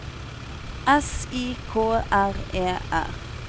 S I K R E R